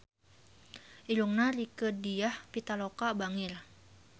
Irungna Rieke Diah Pitaloka bangir